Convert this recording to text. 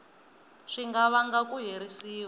swi nga vanga ku herisiwa